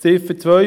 Ziffer 2